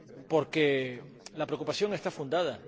porque la preocupación está fundada.